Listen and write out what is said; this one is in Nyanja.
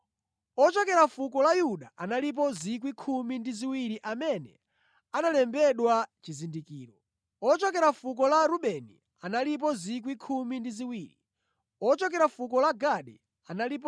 Ochokera fuko la Yuda analipo 12,000 amene analembedwa chizindikiro. Ochokera fuko la Rubeni analipo 12,000; ochokera fuko la Gadi analipo 12,000;